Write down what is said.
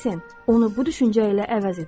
Onu bu düşüncə ilə əvəz edin.